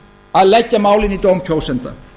að leggja málin í dóm kjósenda